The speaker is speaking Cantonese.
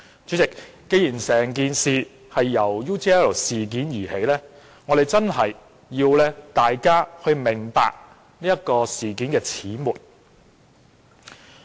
主席，既然整件事由 UGL 事件而起，我們便要讓大家明白事件的始末。